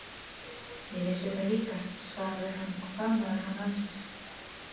Ég vissi það líka, svaraði hann og faðmaði hana að sér.